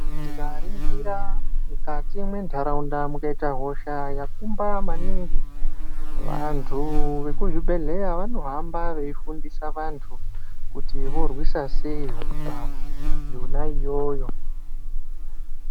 Tikaringira mukati mwentaraunda mukaita hosha yakumba maningi vantu vekuzvibhedheleya vanohamba veifundisa vantu kuti tinorwisa sei hosha yona iyoyo.